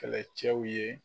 Kɛlɛcɛw ye